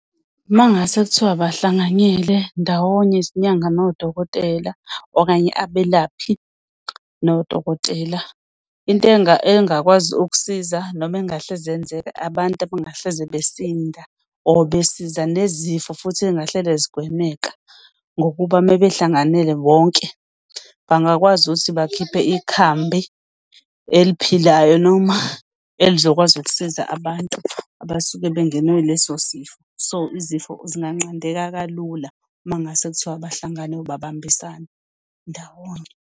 Uma ngase kuthiwa bahlanganyele ndawonye izinyanga nodokotela okanye abelaphi nodokotela, into engakwazi ukusiza noma engahleze iyenzeka abantu abangahleze besinda or besiza nezifo futhi engahlele zigwemeka. Ngokuba mebehlanganele bonke bangakwazi ukuthi bakhiphe ikhambi eliphilayo noma elizokwazi ukusiza abantu abasuke bengenwe ileso sifo. So izifo zinganqandeka kalula uma kungase kuthiwa abahlangane or babambisane ndawonye.